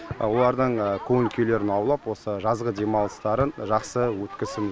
олардың көңіл күйлерін аулап осы жазғы демалыстарын жақсы өткізу